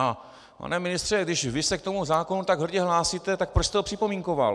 A pane ministře, když vy se k tomu zákonu tak hrdě hlásíte, tak proč jste ho připomínkoval?